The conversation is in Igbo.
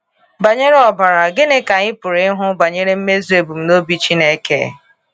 Banyere ọbara, gịnị ka anyị pụrụ ịhụ banyere mmezu ebumnobi Chineke?